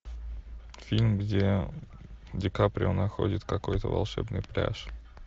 фильм где ди каприо находит какой то волшебный пляж